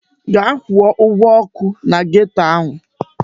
Gaa kwụọ ụgwọ ọkụ na geto ahụ!